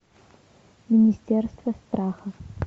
министерство страха